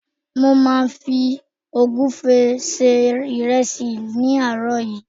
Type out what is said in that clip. mo ma fi ogunfe se iresi ní àárò yìí